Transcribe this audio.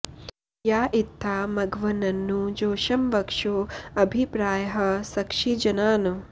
या इ॒त्था म॑घव॒न्ननु॒ जोषं॒ वक्षो॑ अ॒भि प्रार्यः स॑क्षि॒ जना॑न्